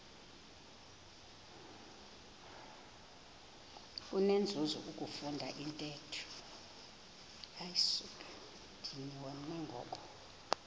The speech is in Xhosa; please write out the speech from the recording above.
kunenzuzo ukufunda intetho